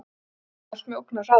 Ég skynja allt með ógnarhraða.